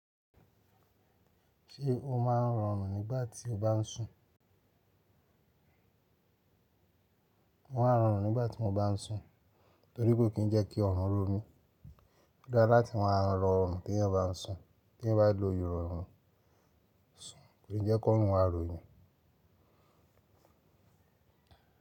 Ṣé o máa ń rọrùn nígbà tí o bá ń sùn? Wọn á rọrùn nígbà tí mo bá ń sùn, torí pé kò kí ń jẹ́ kí ọrùn ró mi. Ó dára láti máa rọrùn tí ẹ̀yàn bá ń sùn, tí ẹ̀yàn bá lọ́ yí ọrùn sùn, kò ní jẹ́ kí ọrùn ma rò eyan.